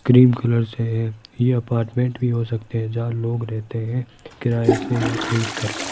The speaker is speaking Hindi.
क्रीम कलर से है ये अपार्टमेंट भी हो सकते हैं जहां लोग रहते हैं किराए से या खरीद कर।